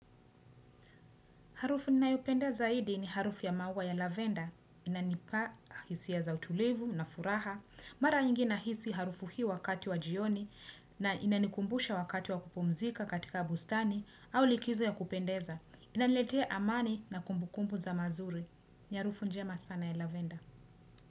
Harufu ninayopenda zaidi ni harufu ya maua ya lavender, inanipa hisia za utulivu na furaha. Mara nyingi nahisi harufu hii wakati wa jioni na inanikumbusha wakati wa kupumzika katika bustani au likizo ya kupendeza. Inaniletea amani na kumbukumbu za mazuri. Ni harufu njema sana ya lavender.